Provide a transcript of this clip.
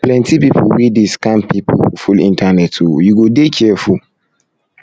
plenty pipu wey dey um scam pipu full internet o you go dey careful